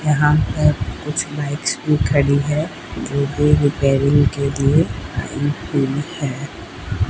यहां पे कुछ बाइक्स भी खड़ी हैं रिपेयरिंग के लिए थैंक यू लिखा है।